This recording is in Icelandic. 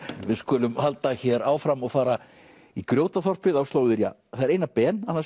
við skulum halda hér áfram og fara í Grjótaþorpið á slóðir ja það er Einar Ben annars